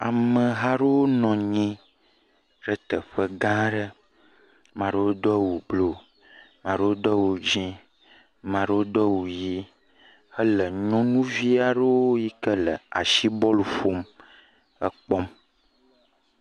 Amehaɖewo nɔ anyi ɖe teƒe gã aɖe, ame aɖewo do awu blu, ame aɖewo do awu dzɛ, ame aɖewo do awu ʋi hele nyɔnuvi aɖe yike le asi bɔlu ƒom la wokpɔm.